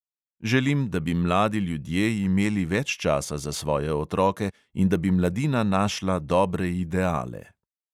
Želim, da bi mladi ljudje imeli več časa za svoje otroke in da bi mladina našla dobre ideale.